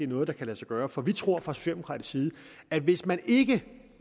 noget der kan lade sig gøre for vi tror fra socialdemokratisk side at hvis man ikke